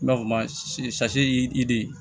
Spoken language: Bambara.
N b'a fɔ ma idi